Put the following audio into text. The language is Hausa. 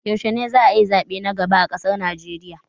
Yaushe ne za'a yi zaɓe na gaba a ƙasar Naijeriya?